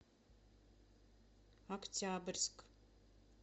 октябрьск